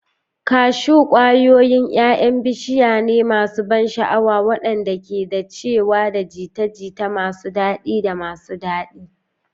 Kashu, kwayoyin 'ya'yan bishiyane masu ban sha'awa waɗanda ke dacewa da jita-jita masu daɗi da masu daɗi.